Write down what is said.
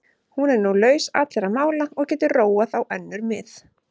Hún er nú laus allra mála og getur róað á önnur mið.